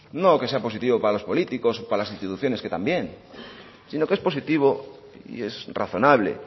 no que sea positivo para los políticos o para las instituciones que también sino que es positivo y es razonable